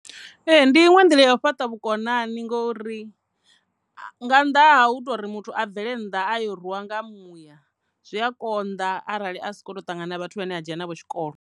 Ee, ndi iṅwe nḓila ya u fhaṱa vhukonani ngori nga nnḓa ha u tori muthu a bvele nnḓa a yo rwiwa nga muya zwi a konḓa arali a soko ṱangana vhathu vhane a dzhena navho tshikolo.